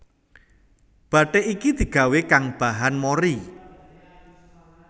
Bathik iki digawé kang bahan mori